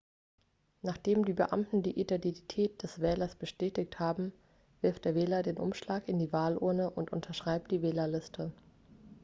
nachdem die beamten die identität des wählers bestätigt haben wirft der wähler den umschlag in die wahlurne und unterschreibt die wählerliste